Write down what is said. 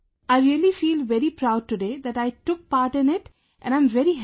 I really feel very proud today that I took part in it and I am very happy